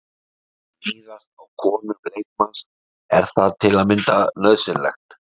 Að níðast á konum leikmanns, er það til að mynda nauðsynlegt?